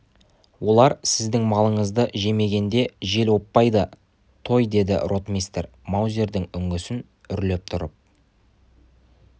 олар сіздің малыңызды жемегенде жел оппайды той деді ротмистр маузердің үңгісін үрлеп тұрып